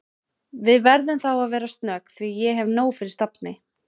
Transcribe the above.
Við verðum þá að vera snögg því ég hef nóg fyrir stafni